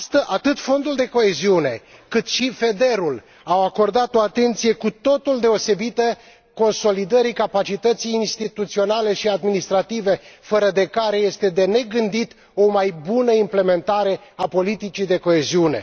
Atât Fondul de coeziune, cât și FEDER au acordat o atenție cu totul deosebită consolidării capacității instituționale și administrative, fără de care este de negândit o mai bună implementare a politicii de coeziune.